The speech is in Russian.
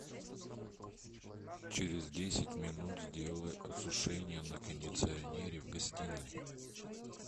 через десять минут сделай осушение на кондиционере в гостиной